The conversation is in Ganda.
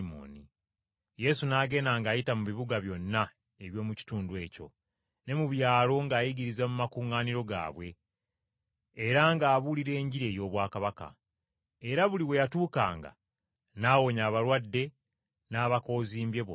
Yesu n’agenda ng’ayita mu bibuga byonna eby’omu kitundu ekyo, ne mu byalo ng’ayigiriza mu makuŋŋaaniro gaabwe, era ng’abuulira Enjiri ey’obwakabaka. Era buli we yatuukanga n’awonya abalwadde n’abakoozimbye bonna.